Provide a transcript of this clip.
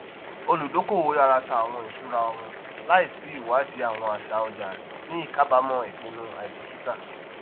olùdókòwò yara tà àwọn ìsúra wọn láìsí ìwádìí àwọn àṣà ọjà ní ìkáàbámọ ipinnu àìbíkítà